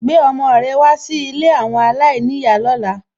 Gbé ọmọ rẹ wá sí ilé àwọn aláìníyàá lóla.